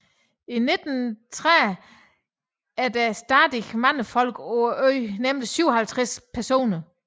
I 1930 er der stadig mange folk på øen nemlig 57 personer